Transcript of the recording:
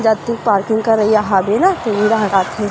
जती पार्किंग करईयया हबे न उहि डाहर आथे।